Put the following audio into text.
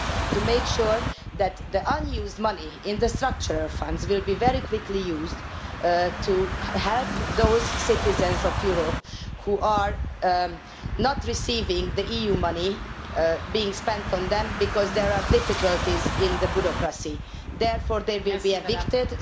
to make sure that the unused money in the Structural Funds will be very quickly used to help those citizens of Europe who are not receiving the EU money being spent on them because there are difficulties in the bureaucracy and therefore they will be evicted.